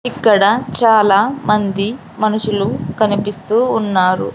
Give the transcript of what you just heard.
ఇక్కడ చాలా మంది మనుషులు కనిపిస్తూ ఉన్నారు.